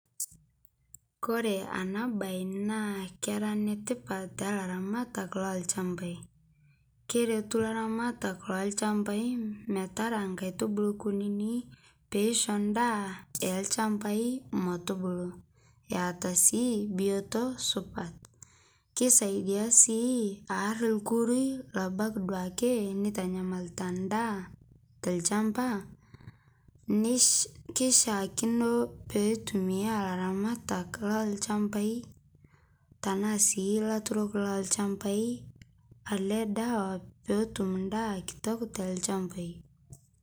kore ana bai naa kera netipat talaramatak lolshampai keretu laramatak lolshampai metara nkaitubulu kunini peisho ndaa elshampai metubuluu eata sii bioto supat keisaidia sii aar lkurui labaki duake neitanyamalita ndaa telshampaa keishiakino peitumia laramatak lalchampai tanaa sii laturok lelchampai alee dawa peetum ndaa kitok te lshampai